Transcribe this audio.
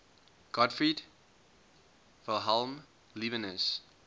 gottfried wilhelm leibniz